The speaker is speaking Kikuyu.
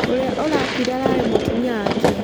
ũrĩa ũrakuire ararĩ mũtumia wake